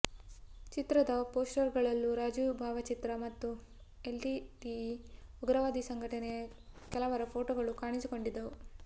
ಚಿತ್ರದ ಪೋಸ್ಟರ್ಗಳಲ್ಲೂ ರಾಜೀವ್ ಭಾವಚಿತ್ರ ಮತ್ತು ಎಲ್ಟಿಟಿಇ ಉಗ್ರವಾದಿ ಸಂಘಟನೆಯ ಕೆಲವರ ಫೋಟೋಗಳು ಕಾಣಿಸಿಕೊಂಡಿದ್ದವು